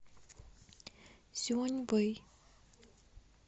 сюаньвэй